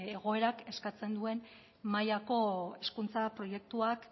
egoerak eskatzen duen mailako hezkuntza proiektuak